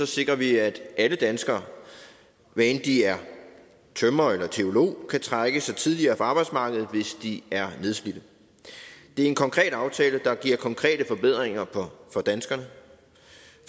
sikrer vi at alle danskere hvad end de er tømrer eller teolog kan trække sig tidligere fra arbejdsmarkedet hvis de er nedslidte det er en konkret aftale der giver konkrete forbedringer for danskerne